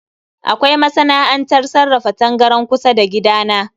Kawai masana'antar sarrafa tangaran kusa da gida na